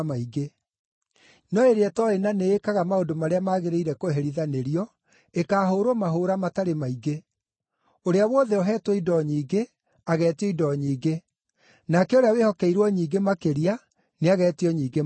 No ĩrĩa ĩtooĩ na nĩĩkaga maũndũ marĩa magĩrĩire kũherithanĩrio, ĩkaahũũrwo mahũũra matarĩ maingĩ. Ũrĩa wothe ũheetwo indo nyingĩ, ageetio indo nyingĩ; nake ũrĩa wĩhokeirwo nyingĩ makĩria nĩageetio nyingĩ makĩria.